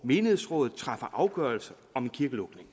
menighedsrådet træffer afgørelse om en kirkelukning